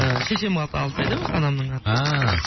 і шешемнің аты алтынай да өзі анамның аты ааа